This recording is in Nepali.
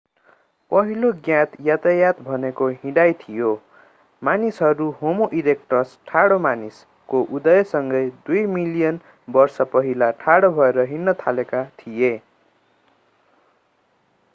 पहिलो ज्ञात यातायात भनेको हिँडाइ थियो मानिसहरू होमो ईरेक्टस ठाडो मानिस को उदयसँगै दुई मिलियन वर्ष पहिला ठाडो भएर हिँड्न थालेका थिए।